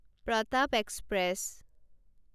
Pratap express